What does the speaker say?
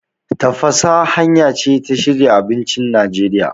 Tafasa hanya ce ta shirya abincin Najeriya.